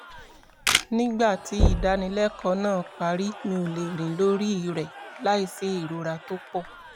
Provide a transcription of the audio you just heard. nígbà tí ìdánilẹ́kọ̀ọ́ náà parí mi ò lè rìn lórí rẹ̀ láìsí ìrora tó pọ̀